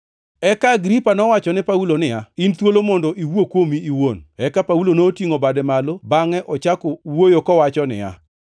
Eka Agripa nowachone Paulo niya, “In thuolo mondo iwuo kuomi iwuon.” Eka Paulo notingʼo bade malo bangʼe ochako wuoyo kowacho niya,